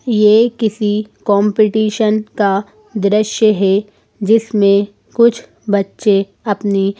ये किसी कॉम्पीटिशन का दृश्य है जिसमे कुछ बच्चे अपनी--